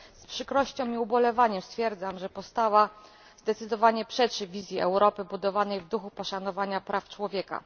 Z przykrością i ubolewaniem stwierdzam, że postawa zdecydowanie przeczy wizji Europy budowanej w duchu poszanowania praw człowieka.